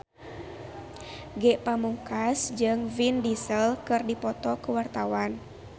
Ge Pamungkas jeung Vin Diesel keur dipoto ku wartawan